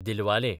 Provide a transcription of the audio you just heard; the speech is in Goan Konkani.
दिलवाले